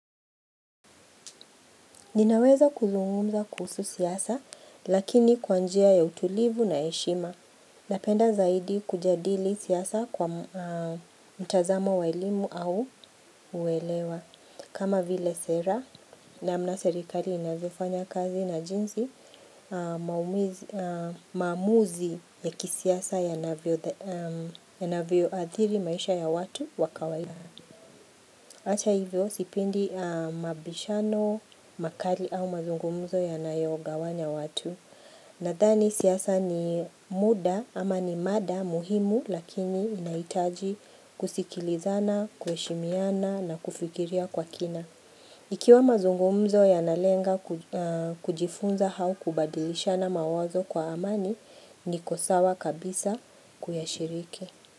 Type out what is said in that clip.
Ninaweza kuzungumza kuhusu siasa lakini kwa njia ya utulivu na heshima Napenda zaidi kujadili siasa kwa mtazamo wa elimu au uwelewa kama vile sera namna serikali inazifanya kazi na jinsi maamuzi ya kisiasa yanavyoadhiri maisha ya watu wa kawaida Ata hivyo sipendi mabishano, makali au mazungumzo yanayogawanya watu. Nadhani siasa ni muda ama ni mada muhimu lakini inahitaji kusikilizana, kuheshimiana na kufikiria kwa kina. Ikiwa mazungumzo yanalenga kujifunza au kubadilishana mawazo kwa amani niko sawa kabisa kuyashiriki.